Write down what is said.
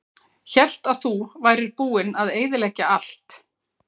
Hélt að þú værir búinn að eyðileggja allt.